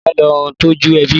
Ìyá lò n tòjú èbí